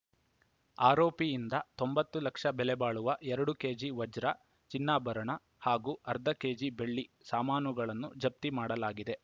ಆರೋಪಿಯಿಂದ ತೊಂಬತ್ತು ಲಕ್ಷ ಬೆಲೆಬಾಳುವ ಎರಡು ಕೆಜಿ ವಜ್ರ ಚಿನ್ನಾಭರಣ ಹಾಗೂ ಅರ್ಧ ಕೆಜಿ ಬೆಳ್ಳಿ ಸಾಮಾನುಗಳನ್ನು ಜಪ್ತಿ ಮಾಡಲಾಗಿದೆ